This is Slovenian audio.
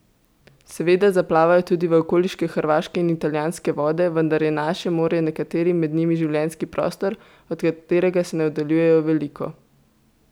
Seveda zaplavajo tudi v okoliške hrvaške in italijanske vode, vendar je naše morje nekaterim med njimi življenjski prostor, od katerega se ne oddaljujejo veliko.